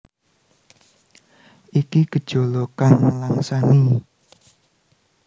Iki gejala kang nelangsani